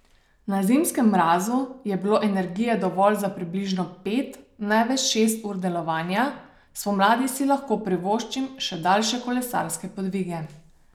Na zimskem mrazu je bilo energije dovolj za približno pet, največ šest ur delovanja, spomladi si lahko privoščim še daljše kolesarske podvige.